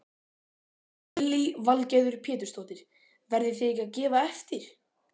Lillý Valgerður Pétursdóttir: Verðið þið ekkert að gefa eftir?